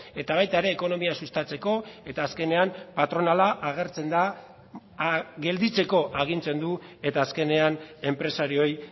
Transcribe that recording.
eta baita ere ekonomia sustatzeko eta azkenean patronala agertzen da gelditzeko agintzen du eta azkenean enpresarioei